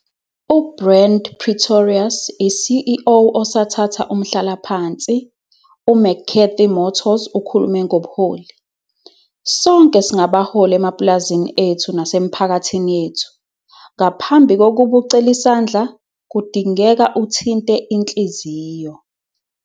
U-Brand Pretorius i-CEO osathatha umhlalaphansi u-McCathy Motors ukhulume 'Ngobuholi'. Sonke singabaholi emapulazini ethu nasemiphakathini yethu. 'Ngaphambi kokuba ucele isandla, kudingeka uthinte inhliziyo.'